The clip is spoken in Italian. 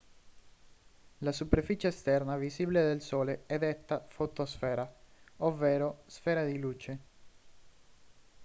la superficie esterna visibile del sole è detta fotosfera ovvero sfera di luce